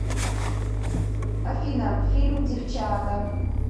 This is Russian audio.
афина фильм девчаата